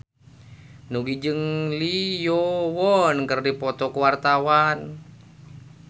Nugie jeung Lee Yo Won keur dipoto ku wartawan